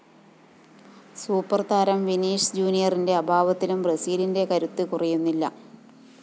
സൂപ്പര്‍താരം Vinicius ജൂനിയറിന്റെ അഭാവത്തിലും ബ്രസീലിന്റെ കരുത്ത് കുറയുന്നില്ല